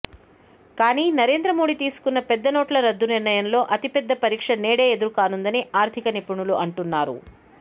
కానీ నరేద్రమోడీ తీసుకున్న పెద్ద నోట్ల రద్దు నిర్ణయంలో అతిపెద్ద పరీక్ష నేడే ఎదురు కానుందని ఆర్ధిక నిపుణులు అంటున్నారు